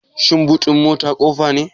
Shin boot din mota ƙofa ne?